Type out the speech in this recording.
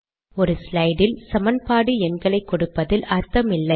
ஒரு ஸ்லைட் இல் சமன்பாடு எண்களை கொடுப்பதில் அர்த்தம் இல்லை